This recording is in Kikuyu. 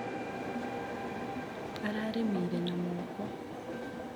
Ararĩmĩire na moko.